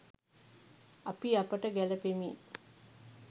අපි අපට ගැළපෙමින්